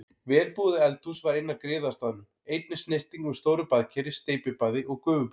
Vel búið eldhús var inn af griðastaðnum, einnig snyrting með stóru baðkeri, steypibaði og gufubaði.